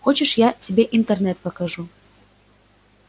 хочешь я тебе интернет покажу